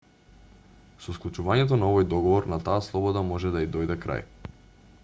со склучувањето на овој договор на таа слобода може да ѝ дојде крај